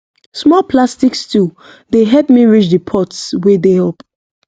small plastic stool dey help me reach the pots wey dey up